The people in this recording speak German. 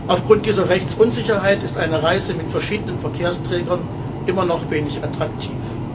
Aufgrund dieser Rechtsunsicherheit ist eine Reise mit verschiedenen Verkehrsträgern immer noch wenig attraktiv.